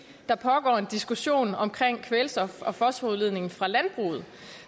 der pågår en diskussion om kvælstof og fosforudledningen fra landbruget